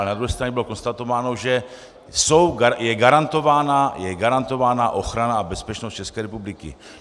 Ale na druhé straně bylo konstatováno, že je garantována ochrana a bezpečnost České republiky.